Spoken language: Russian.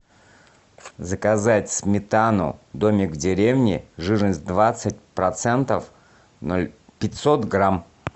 заказать сметану домик в деревне жирность двадцать процентов пятьсот грамм